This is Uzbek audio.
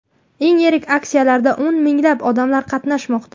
Eng yirik aksiyalarda o‘n minglab odam qatnashmoqda.